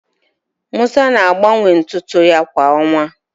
Musa na-agbanwe ntụ ntụ ya kwa ọnwa